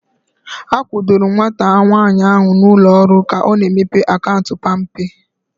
A kwudoro m nwata nwaanyị ahu na ụlọ ọrụ ka ọ na-emepe akaụntụ palmpay